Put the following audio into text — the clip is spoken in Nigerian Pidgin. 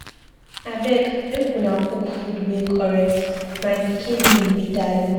Abeg make una cook food wey correct, my pikin name be Dalu